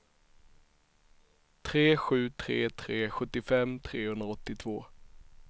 tre sju tre tre sjuttiofem trehundraåttiotvå